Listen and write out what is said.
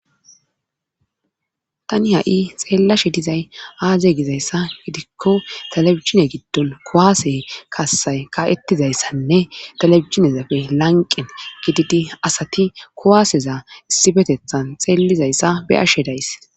Tani ha7i xeellashe dizay aaze gizayssa gidikko talebisine giddon kowaase kasay ka7ettizayssanne telebisinezapfe lanqen gididi asati kowaaseza issibetethan xeellizayssa be ashe days